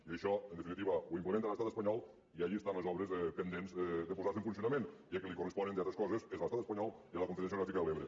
i això en definitiva ho implementa l’estat espanyol i allí estan les obres pendents de posar se en funcionament i a qui li correspon entre altres coses és a l’estat espanyol i a la confederació hidrogràfica de l’ebre